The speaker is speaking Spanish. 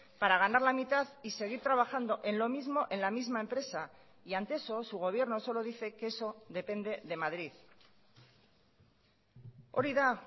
para ganar la mitad y seguir trabajando en lo mismo en la misma empresa y ante eso su gobierno solo dice que eso depende de madrid hori da